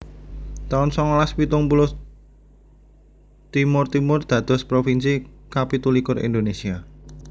taun songolas pitung puluh Timor Timur dados provinsi kapitu likur Indonesia